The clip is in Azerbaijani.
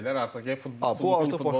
Artıq gedib futbola yazılacaqlar.